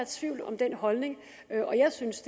tvivl om den holdning og jeg synes